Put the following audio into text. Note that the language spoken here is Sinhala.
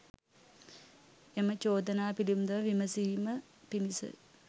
එම චෝදනා පිළිබඳව විමසීම පිණිස